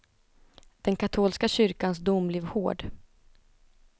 Den katolska kyrkans dom blev hård.